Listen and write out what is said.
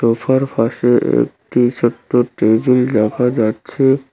সোফার পাশে একটি ছোট্ট টেবিল দেখা যাচ্ছে।